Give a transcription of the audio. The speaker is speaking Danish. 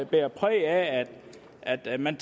bærer præg af at man